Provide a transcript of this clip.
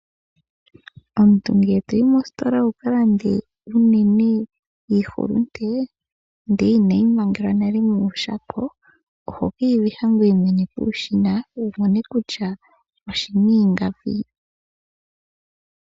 Omuntu ngele toyi mositola wukalande iihulunde ihe inayi mangelwa monayilona ohayi kavihwa peshina wu mone kutya ingapi.